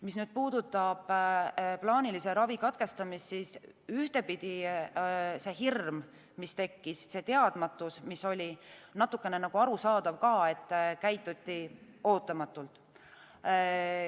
Mis puudutab plaanilise ravi katkestamist, siis ühtepidi see hirm, mis tekkis, see teadmatus, oli natukene nagu arusaadav ka, kuna käituti ootamatult.